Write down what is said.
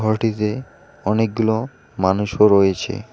ঘরটিতে অনেকগুলো মানুষও রয়েছে।